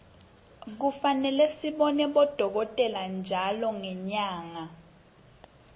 kufane sibone bodolkotela ntjalo ngenyarge